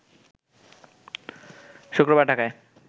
শুক্রবার ঢাকায়